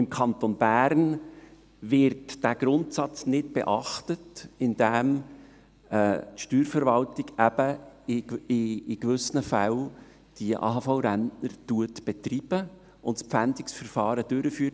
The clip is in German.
Im Kanton Bern wird dieser Grundsatz nicht beachtet, indem die Steuerverwaltung in gewissen Fällen die AHV-Rentner betreibt und das Pfändungsverfahren durchführt.